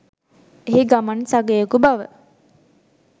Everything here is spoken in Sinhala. එහි ගමන් සගයෙකු බව